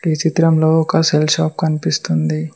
ఈ చిత్రంలో ఒక సెల్ షాప్ కనిపిస్తుంది.